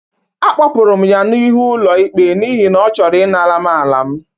Akpọpụrụ m ya n'ịhụ ọlụ ikpe n'ihi na ọ chọrọ ị nara m ala m.